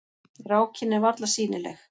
Rákin er varla sýnileg.